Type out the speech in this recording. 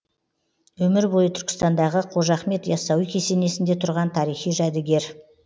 өмір бойы түркістандағы қожа ахмет яссауи кесенесінде тұрған тарихи жәдігер